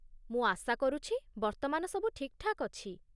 ମୁଁ ଆଶା କରୁଛି ବର୍ତ୍ତମାନ ସବୁ ଠିକ୍‌ଠାକ୍ ଅଛି?